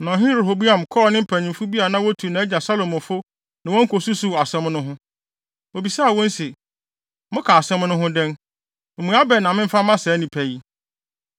Na Ɔhene Rehoboam kɔɔ ne mpanyimfo bi a na wotu nʼagya Salomo fo ne wɔn kosusuw asɛm no ho. Obisaa wɔn se, “Moka asɛm no ho dɛn? Mmuae bɛn na memfa mma saa nnipa yi?”